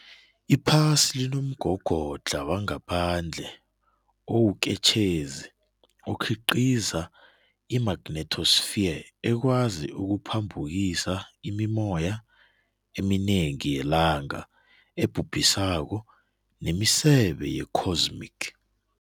Iphasi linomgogodla wangaphandle owuketshezi okhiqiza i-magnetosphere ekwazi ukuphambukisa imimoya eminengi yelanga ebhubhisako nemisebe ye-cosmic.